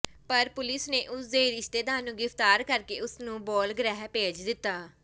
ਪਰ ਪੁਲਿਸ ਨੇ ਉਸ ਦੇ ਰਿਸ਼ਤੇਦਾਰ ਨੂੰ ਗ੍ਰਿਫ਼ਤਾਰ ਕਰਕੇ ਉਸ ਨੂੰ ਬਾਲ ਗ੍ਰਹਿ ਭੇਜ ਦਿੱਤਾ